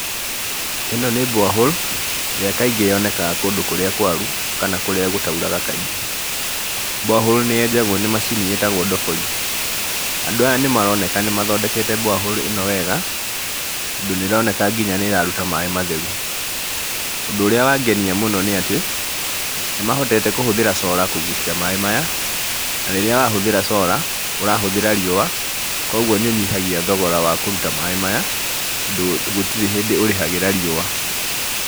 Ĩno nĩ borehole ĩrĩa kaingĩ yonekaga kũndũ kũrĩa kwaru kana kũrĩa gũtauraga kaingĩ. Borehole nĩ yenjagwo nĩ macini ĩitagwo ndobori. Andũ aya nĩmaroneka nĩmathondekete borehole ĩno wega tondũ nĩroneka nginya nĩ ĩraruta maĩ matheru. Ũndũ ũrĩa wangenia mũno nĩ atĩ, nĩmahotete kũhũthĩra solar kũgucia maĩ maya, na rĩrĩa wahũthĩra solar, ũrahũthĩra riũa koguo nĩũnyihagia thogora wa kũruta maĩ maya tondũ gũtirĩ hĩndĩ ũrĩhagĩra riũa.